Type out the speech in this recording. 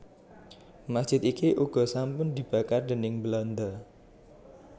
Masjid iki uga sampun dibakar déning Belanda